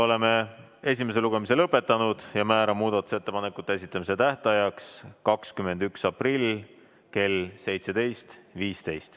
Oleme esimese lugemise lõpetanud ja määran muudatusettepanekute esitamise tähtajaks 21. aprilli kell 17.15.